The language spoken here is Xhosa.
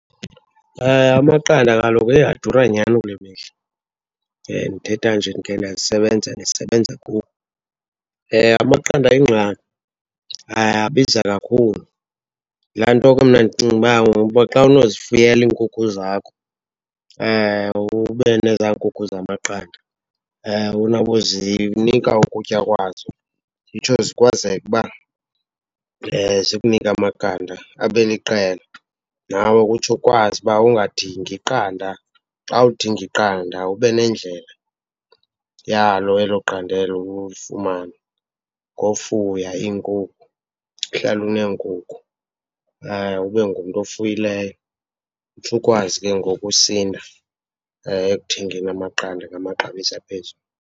Amaqanda kaloku heyi adura nyhani kule mihla, ndithetha nje ndikhe ndasebenza ndisebenza . Amaqanda ayingxaki, ayabiza kakhulu. Yilaa nto ke mna ndicinga uba xa unozifuyela iinkukhu zakho, ube nezaa nkukhu zamaqanda uzinika ukutya kwazo, zitsho zikwazeke uba zikunike amaqanda abe liqela nawe utsho ukwazi uba ungadingi qanda. Xa udinga iqanda ube nendlela yalo elo qanda elo ulifumana ngofuya iinkukhu, uhlale uneenkukhu, ube ngumntu ofuyileyo utsho ukwazi ke ngoku usinda ekuthengeni amaqanda ngamaxabiso aphezulu.